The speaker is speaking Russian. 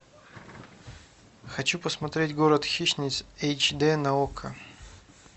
хочу посмотреть город хищниц эйч дэ на окко